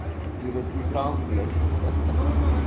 пирацетам блять